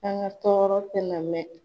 An ka tɔɔrɔ tɛ na mɛn.